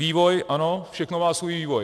Vývoj ano, všechno má svůj vývoj.